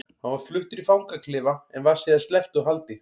Hann var fluttur í fangaklefa en var síðar sleppt úr haldi.